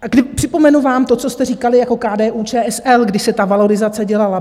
Připomenu vám to, co jste říkali jako KDU-ČSL, když se ta valorizace dělala.